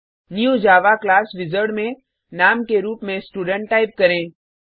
new Java class wizard में नाम के रुप में स्टूडेंट टाइप करें